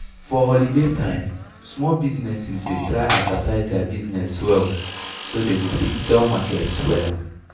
for holiday time small businesses dey try advertise their business well so dey go fit sell market wella